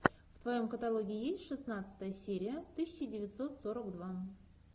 в твоем каталоге есть шестнадцатая серия тысяча девятьсот сорок два